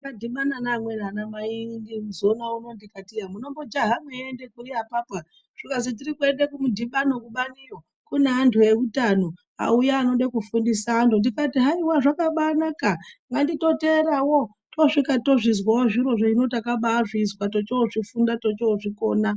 Ndakadhibana neamweni anamai zona unowu ndikati iya, munombojaha meiende kuri apapo, zvikazi, 'Tiri kuende kumudhibano kubani iyo. Kune antu eutano, auya anode kufundisa antu.' Ndikati haiwa zvakabanaka, nganditoteerawo. Tosvika tozvizwawo zvirozvo. Hino takabaizvizwa, techozvifunda techozvikona.